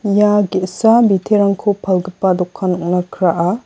ia ge·sa biterangko palgipa dokan ong·na kraa.